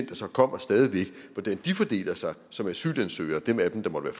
der så kommer stadig væk fordeler sig som asylansøgere dem af dem der måtte